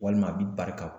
Walima a bɛ barika